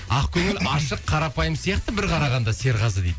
ақкөңіл ашық қарапайым сияқты бір қарағанда серғазы дейді